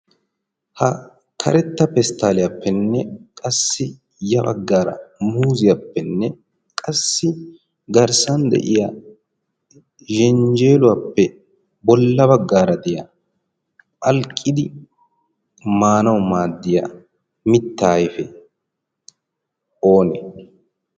ha karetta pesttaaliyaappenne qassi ya baggaara muuziyaappenne qassi garssan de'iya zenjjeeluwaappe bolla baggaara de'iya phalqqidi maanau maaddiya mitta ayfe oonee?